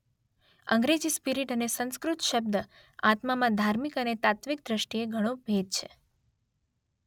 અંગ્રેજી 'સ્પીરીટ' અને સંસ્કૃત શબ્દ 'આત્મા' માં ધાર્મિક અને તાત્વિક દ્રષ્ટિએ ઘણો ભેદ છે.